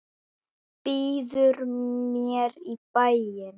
Býður mér í bæinn.